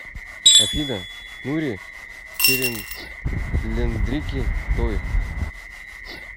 афина нури серинлендрики той